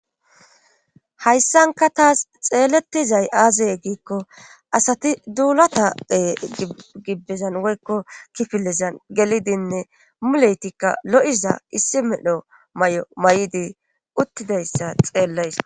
hayssanka taas xeellettizay aaze giikko asati duulatape gibbezan woykko kifilezan gelidinne muleytikka lo'iza issi medho may'o may'idi uttidayssa xeellays